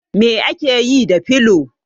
Me ake yi da filo?